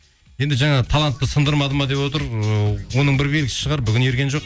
енді жаңағы талантты сындырмады ма деп отыр ы оның бір белгісі шығар бүгін ерген жоқ